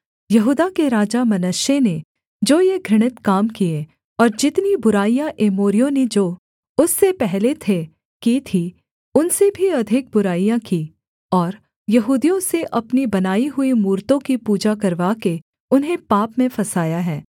यहूदा के राजा मनश्शे ने जो ये घृणित काम किए और जितनी बुराइयाँ एमोरियों ने जो उससे पहले थे की थीं उनसे भी अधिक बुराइयाँ की और यहूदियों से अपनी बनाई हुई मूरतों की पूजा करवाकर उन्हें पाप में फँसाया है